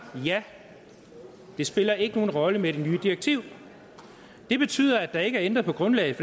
ja det spiller ikke nogen rolle med det nye direktiv det betyder at der ikke er ændret på grundlaget